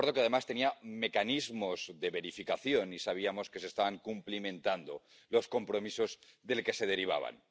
Un acuerdo que, además, tenía mecanismos de verificación, y sabíamos que se estaban cumpliendo los compromisos que de él se derivaban.